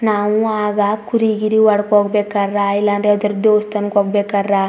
ನಾವು ಆಗ ಕುರಿ ಗಿರಿ ಹೊಡಕ್ ಹೋಗ್ ಬೇಕಾರ ರೈಲ್ ಯಾವದಾರ ದೇವಸ್ಥಾನ ಹೋಗಬೇಕಾರ --